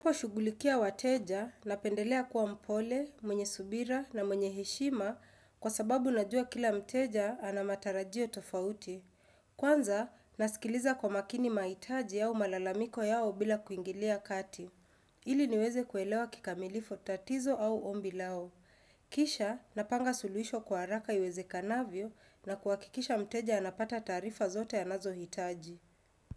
Kuwashughulikia wateja, napendelea kuwa mpole, mwenye subira na mwenye heshima kwa sababu najua kila mteja ana matarajio tofauti. Kwanza, nasikiliza kwa makini mahitaji au malalamiko yao bila kuingilia kati. Ili niweze kuelewa kikamilifu tatizo au ombi lao. Kisha, napanga suluhisho kwa haraka iwezekanavyo na kuhakikisha mteja anapata taarifa zote anazohitaji.